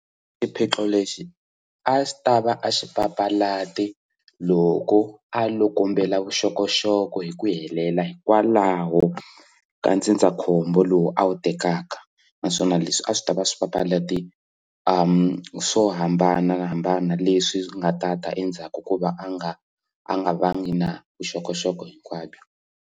Xiphiqo lexi a xi tava a xi papalate loko a loko kombela vuxokoxoko hi ku helela hikwalaho ka ndzindzakhombo lowu a wu tekaka naswona leswi a swi tava swi papalate swo hambanahambana leswi nga ta ta endzhaku ku va a nga a nga vangi na vuxokoxoko hinkwabyo.